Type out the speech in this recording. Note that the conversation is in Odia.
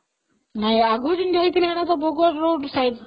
ନହିଁ ଆଗରୁ ଯେମିତି ହେଇଥିଲା ସେଟା ତ ଭୋଗର road side